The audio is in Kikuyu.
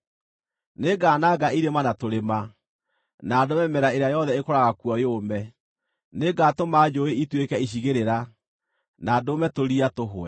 Nĩngananga irĩma na tũrĩma, na ndũme mĩmera ĩrĩa yothe ĩkũraga kuo yũme; nĩngatũma njũũĩ ituĩke icigĩrĩra na ndũme tũria tũhwe.